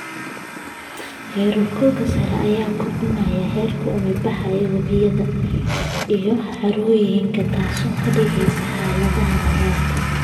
Heerkulka sare ayaa kordhinaya heerka uumi-baxa ee webiyada iyo harooyinka, taas oo ka dhigaysa xaaladda abaarta.